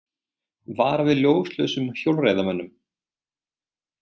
Vara við ljóslausum hjólreiðamönnum